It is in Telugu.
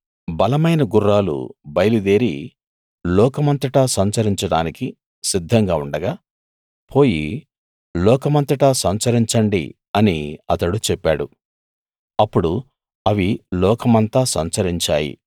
బలమైన గుర్రాలు బయలుదేరి లోకమంతట సంచరించడానికి సిద్ధంగా ఉండగా పోయి లోక మంతటా సంచరించండి అని అతడు చెప్పాడు అప్పుడు అవి లోకమంతా సంచరించాయి